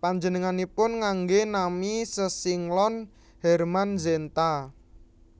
panjenenganipun nganggé nami sesinglon Hermann Zenta